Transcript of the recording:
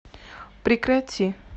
прекрати